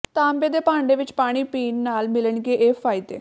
ਤਾਂਬੇ ਦੇ ਭਾਂਡੇ ਵਿਚ ਪਾਣੀ ਪੀਣ ਨਾਲ ਮਿਲਣਗੇ ਇਹ ਫਾਇਦੇ